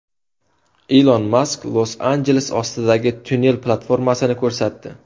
Ilon Mask Los-Anjeles ostidagi tunnel platformasini ko‘rsatdi.